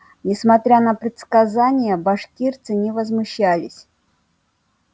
несмотря на предсказания башкирцы не возмущались